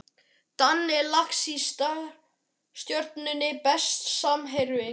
Danni Lax í Stjörnunni Besti samherjinn?